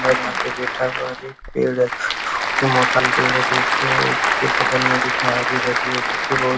और यहाँ पे बैठा हुआ है और एक पेड़ है। बहोत ही मोटा पेड़ है। देखिये उसके बगल में अजीब अजीब --